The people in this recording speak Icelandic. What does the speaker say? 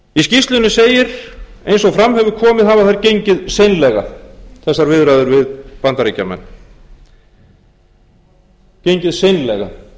skýrslunni segir eins og fram hefur komið hafa þær gengið seinlega þessar viðræður við bandaríkjamenn gengið seinlega það er